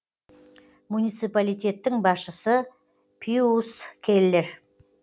муниципалитеттің басшысы пиус келлер